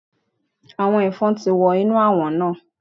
Àwọn Ẹ̀fọn ti wọ inú Àwọ̀n náà.